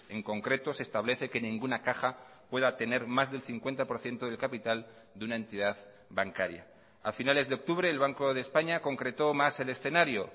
en concreto se establece que ninguna caja pueda tener más del cincuenta por ciento del capital de una entidad bancaria a finales de octubre el banco de españa concretó más el escenario